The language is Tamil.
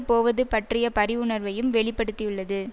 போவது பற்றிய பரிவுணர்வையும் வெளி படுத்தியுள்ளது